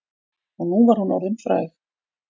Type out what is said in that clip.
Og nú var hún orðin fræg.